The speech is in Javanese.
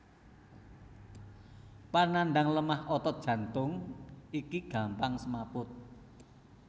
Panandhang lemah otot jantung iki gampang semaput